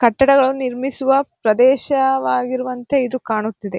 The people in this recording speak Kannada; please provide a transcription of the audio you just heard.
ಕಟ್ಟಡಗಳು ನಿರ್ಮಿಸುವ ಪ್ರದೇಶವಾಗಿರುವಂತೆ ಇದು ಕಾಣುತ್ತಿದೆ.